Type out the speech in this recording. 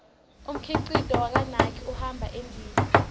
umkhicito wakanike uhamba embile